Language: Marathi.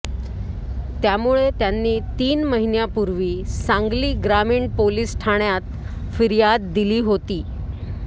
त्यामुळे त्यांनी तीन महिन्यापूर्वी सांगली ग्रामीण पोलीस ठाण्यात फिर्याद दिली होती